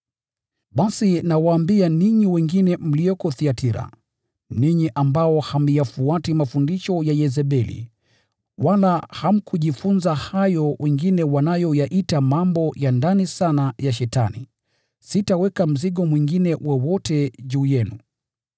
Basi nawaambia ninyi wengine mlioko Thiatira, ninyi ambao hamyafuati mafundisho ya Yezebeli, wala hamkujifunza hayo yanayoitwa mambo ya ndani sana ya Shetani (sitaweka mzigo mwingine wowote juu yenu):